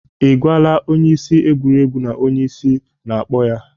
Ị gwala onye isi egwuregwu na onye isi na-akpọ ya?